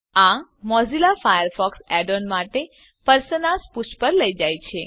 આ Mozilla Firefox add ons માટે personas પુષ્ઠ પર લઇ જાય છે